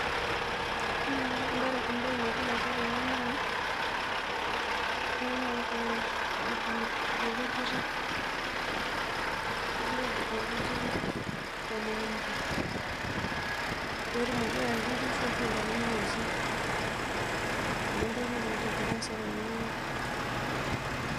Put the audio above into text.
Ore embae nagira aasa tene naa ltunganak ogira adung orkujita negira adung orkujita tormukunta petumoki ayaki nkishu ashu ntare meinosa, neaku adolta egira aasa tenewueji.